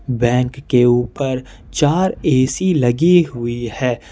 Bank के ऊपर चार ए_सी लगी हुई है।